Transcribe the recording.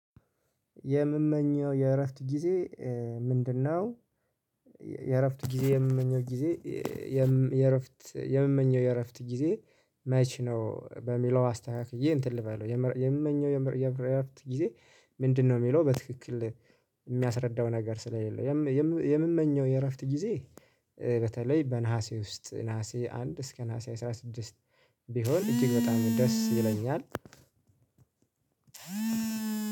የምመኘው የእረፍት ጊዜ ምንድነው? የእረፍት ጊዜ የምመኘው ጊዜ። የምመኘው የእረፍት የምመኘው የእረፍት ጊዜ። መቼ ነው በሚለው አስተካክዬ እንትን ልበለው የምመኘው የምየም የእረፍት ጊዜ ምንድነው? የሚለው በትክክል የሚያስረዳው ነገር ስለሌለው። የምመኘው የእረፍት ጊዜ። በተለይ በነሀሴ ውስጥ ነሀሴ አንድ እስከ ነሀሴ አስራ ስድስት ቢሆን እጅግ በጣም ደስ ይለኛል።